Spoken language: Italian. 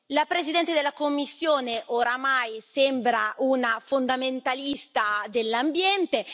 La Presidente della Commissione ormai sembra una fondamentalista dell'ambiente.